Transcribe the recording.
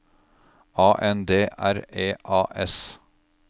A N D R E A S